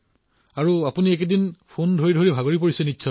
এইকেইদিন আপুনি টেলিফোনত কথা পাতি পাতি বোধহয় ভাগৰি গৈছে